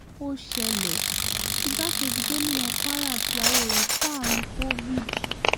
ó ṣẹlẹ̀ igbákejì gómìnà kwara àtìyàwó rẹ̀ kó àrùn covid